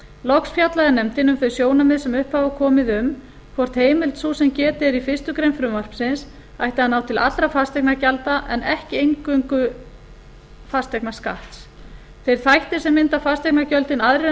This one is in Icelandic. loks fjallaði nefndin um þau sjónarmið sem upp hafa komið um hvort heimild sú sem getið er í fyrstu grein frumvarpsins ætti að ná til allra fasteignagjalda en ekki einvörðungu fasteignaskatts þeir þættir sem mynda fasteignagjöldin aðrir en